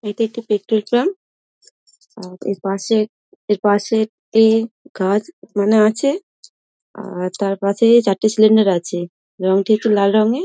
এটি একটি petrol pump | অ্যা এর পাশ এর পাশে একটি গাছ মানে আছে | আর তার পাশে চারটি সিলিন্ডার আছে রঙটি একটু লাল রঙের।